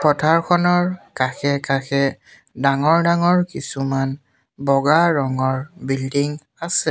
পথাৰখনৰ কাষে-কাষে ডাঙৰ ডাঙৰ কিছুমান বগা ৰঙৰ বিল্ডিং আছে।